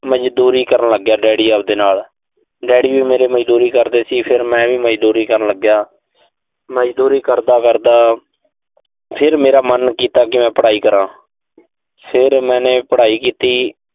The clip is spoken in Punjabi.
ਮਜ਼ਦੂਰੀ ਕਰਨ ਲਾਗਿਆ, daddy ਅਬਦੇ ਨਾਲ। daddy ਵੀ ਮੇਰੇ ਮਜ਼ਦੂਰੀ ਕਰਦੇ ਸੀ, ਫਿਰ ਮੈਂ ਵੀ ਮਜ਼ਦੂਰੀ ਕਰਨ ਲੱਗਿਆ। ਮਜ਼ਦੂਰੀ ਕਰਦਾ ਕਰਦਾ ਫਿਰ ਮੇਰਾ ਮਨ ਕੀਤਾ ਕਿ ਮੈਂ ਪੜਾਈ ਕਰਾਂ। ਫਿਰ ਮੈਨੇ ਪੜਾਈ ਕੀਤੀ।